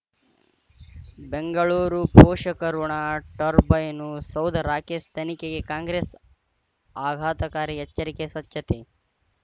ಬೆಂಗಳೂರು ಪೋಷಕಋಣ ಟರ್ಬೈನು ಸೌಧ ರಾಕೇಶ್ ತನಿಖೆಗೆ ಕಾಂಗ್ರೆಸ್ ಆಘಾತಕಾರಿ ಎಚ್ಚರಿಕೆ ಸ್ವಚ್ಛತೆ